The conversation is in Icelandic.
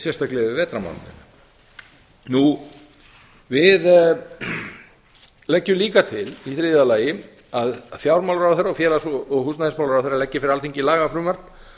sérstaklega yfir vetrarmánuðina við leggjum líka til í þriðja lagi að fjármálaráðherra og félags og húsnæðismálaráðherra leggi fyrir alþingi lagafrumvarp